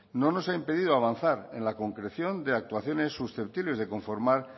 no nos ha impedido avanzar en la concreción de actuaciones susceptibles de conformar